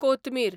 कोतमीर